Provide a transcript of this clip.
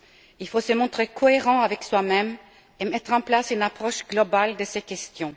Il faut se montrer cohérents avec soi même et mettre en place une approche globale de ces questions.